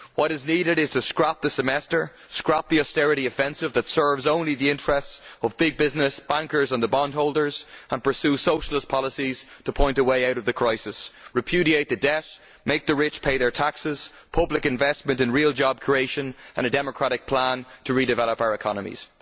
What is needed is to scrap the Semester, to scrap the austerity offensive that serves only the interests of big business, bankers and bondholders, and to pursue socialist policies to point a way out of the crisis, repudiate the debt, make the rich pay their taxes and have public investment in real job creation and a democratic plan to redevelop our economies.